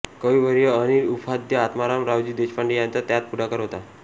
कविवर्य अनिल उपाख्य आत्माराम रावजी देशपांडे यांचा त्यात पुढाकार होता